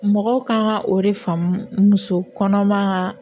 Mɔgɔw kan ka o de faamu muso kɔnɔman